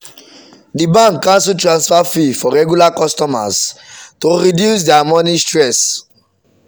the bank cancel transfer fee for regular customers to reduce their money stress.